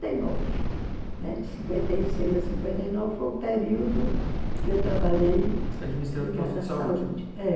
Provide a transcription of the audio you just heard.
né? De cinquenta e seis a cinquenta a nove foi o período que eu trabalhei... Administrando o posto de saúde. É